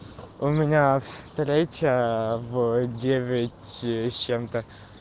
у меня встреча в девять с чем-то